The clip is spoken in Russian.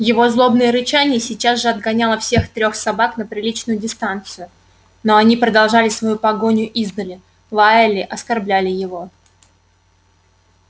его злобное рычание сейчас же отгоняло всех трёх собак на приличную дистанцию но они продолжали свою погоню издали лаяли оскорбляли его